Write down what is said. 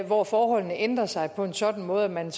hvor forholdene ændrede sig på en sådan måde at man